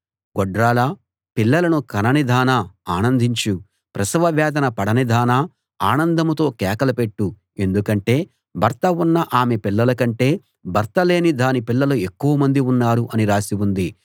గొడ్రాలా పిల్లలను కననిదానా ఆనందించు ప్రసవ వేదన పడనిదానా ఆనందంతో కేకలు పెట్టు ఎందుకంటే భర్త ఉన్న ఆమె పిల్లల కంటే భర్త లేని దాని పిల్లలు ఎక్కువమంది ఉన్నారు అని రాసి ఉంది